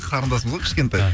қарындасым ғой кішкентай